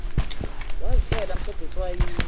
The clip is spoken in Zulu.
wazithela msobho etswayini